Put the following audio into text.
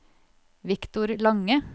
Victor Lange